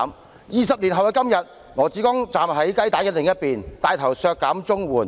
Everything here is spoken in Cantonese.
可是，在20年後的今天，羅致光站在雞蛋的另一邊，牽頭削減綜援。